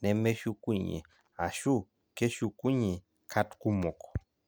nemeshukunye ashu keshukunye kat kumok?